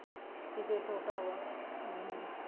ਕੀਤੇ ਛੋਟਾ ਵਾ ਅਹ